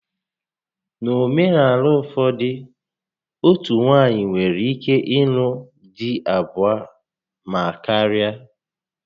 N'omenaala ụfọdụ, otú nwaanyị nwere ike ịlụ dị abụo ma karịa